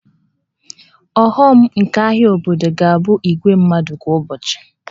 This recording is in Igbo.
Ọghọm nke ahịa obodo ga-abụ igwe mmadụ kwa ụbọchị